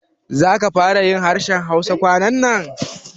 Za ka fara yin harshen Hausa kwanannan?